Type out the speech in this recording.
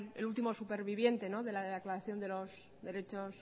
el último superviviente de la declaración de los derechos